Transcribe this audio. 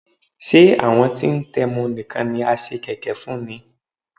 Ṣé àwọn tí ń tẹmu nìkan ni a ṣe kẹ̀kẹ́ fún ni?